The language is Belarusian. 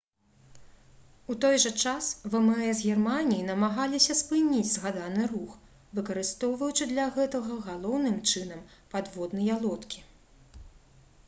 у той жа час вмс германіі намагаліся спыніць згаданы рух выкарыстоўваючы для гэтага галоўным чынам падводныя лодкі